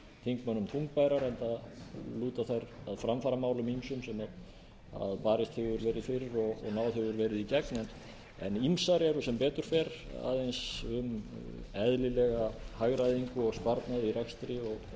þingmönnum þungbærar enda lúta þær að ýmsum framfaramálum sem barist hefur verið fyrir og náð hefur verið í gegn en ýmsar eru sem betur fer aðeins um eðlilega hagræðingu og sparnað í rekstri og